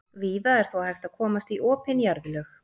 víða er þó hægt að komast í opin jarðlög